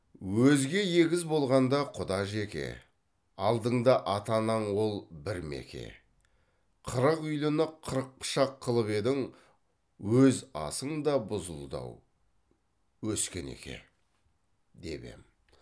өзге егіз болғанда құда жеке алдыңда ата анаң ол бір меке қырық үйліні қырық пышақ қылып едің өз асың да бұзылды ау өскенеке деп ем